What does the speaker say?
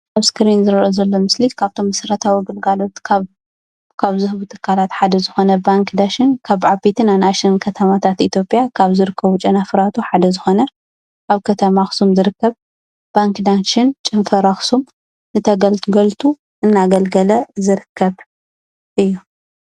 ኣብ እስክሪን ዝርአ ዘሎ ምስሊ ካብቶም መሰረታዊ ግልጋሎት ካብ ዝህቡ ትካላት ሓደ ዝኾነ ባንኪ ዳሽን ካብ ዓበይትን ኣናእሽትን ከተማታት ኢትዮጵያ ካብ ዝርከቡ ጨናፍራቱ ሓደ ዝኾነ ኣብ ከተማ ኣኽሱም ዝርከብ ባንኪ ዳሽን ጨንፈር ኣኽሱም ንተገልገልቱ እናገልገለ ዝርከብ እዩ።